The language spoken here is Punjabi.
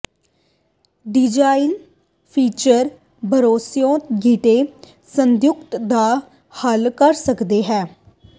ਡਿਜ਼ਾਈਨ ਫੀਚਰ ਭਰੋਸੇਯੋਗ ਗਿੱਟੇ ਸੰਯੁਕਤ ਦਾ ਹੱਲ ਕਰ ਸਕਦਾ ਹੈ